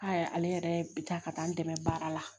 A yɛrɛ ale yɛrɛ bi taa ka taa n dɛmɛ baara la